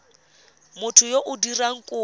motho yo o dirang kopo